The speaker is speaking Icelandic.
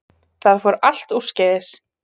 Það fór allt úrskeiðis